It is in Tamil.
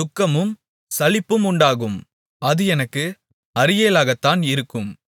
துக்கமும் சலிப்பும் உண்டாகும் அது எனக்கு அரியேலாகத்தான் இருக்கும்